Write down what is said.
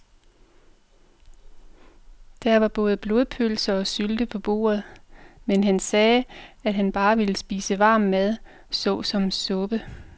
Der var både blodpølse og sylte på bordet, men han sagde, at han bare ville spise varm mad såsom suppe.